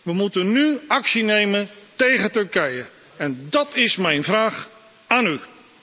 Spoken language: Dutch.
We moeten nu actie nemen tegen Turkije, en dat is mijn vraag aan u.